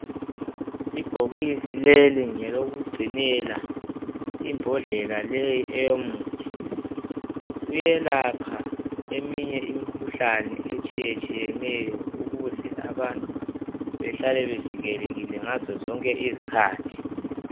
Ibhokisi leli ngelokugcinela imbhondlela leyi eyomuthi uyelapha eminye imikhuhlane etshiyetshiyeneyo ukuze abantu behlale bevikelekile ngazo zonke izikhathi.